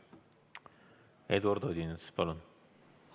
Eduard Odinets, palun!